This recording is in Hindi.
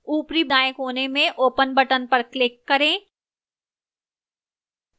ऊपरी दाएं कोने में open button पर click करें